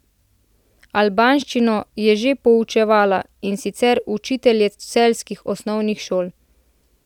Albanščino je že poučevala, in sicer učitelje celjskih osnovnih šol.